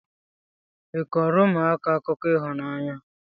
ị kọọrọ ụmụaka akụkọ ịhụnanya?